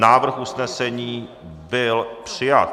Návrh usnesení byl přijat.